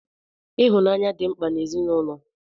Ịhụnanya dị mkpa n'ezinụlọ.